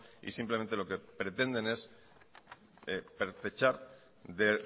y simplemente lo que pretenden es pertrechar de